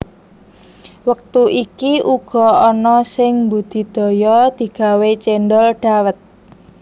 Wektu iki uga ana sing mbudidaya digawe cendhol dhawet